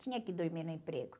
Tinha que dormir no emprego.